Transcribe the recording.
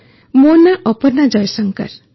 ଅପର୍ଣ୍ଣା ମୋ ନାଁ ଅପର୍ଣ୍ଣା ଜୟଶଙ୍କର